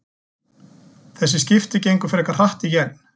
Þessi skipti gengu frekar hratt í gegn.